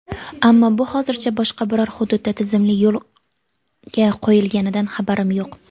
Ammo bu hozircha boshqa biror hududda tizimli yo‘lga qo‘yilganidan xabarim yo‘q.